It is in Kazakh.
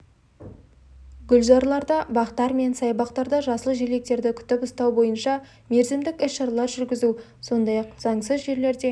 гүлзарларда бақтар мен саябақтарда жасыл желектерді күтіп ұстау бойынша мерзімдік іс-шаралар жүргізу сондай-ақ заңсыз жерлерде